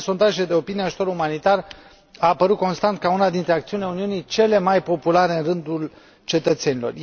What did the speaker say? În fine, în sondaje de opinie, ajutorul umanitar a apărut constant ca una dintre acțiunile Uniunii cele mai populare în rândul cetățenilor.